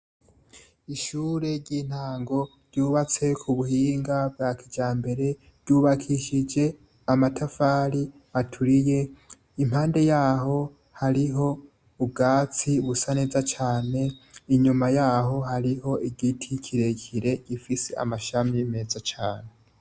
Ishure ry'intango ryubatse ku buhinga bwa kijambere ryubakishije amatafari ahiye, impande yaho hariho ubwatsi busa neza cane, inyuma yaho hariho igiti kirekire gifise amashami meza cane.